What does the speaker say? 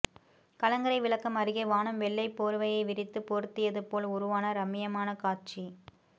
கலங்கரை விளக்கம் அருகே வானம் வெள்ளை போர்வையை விரித்து போர்த்தியது போல் உருவான ரம்மியமான காட்சி